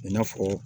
I n'a fɔ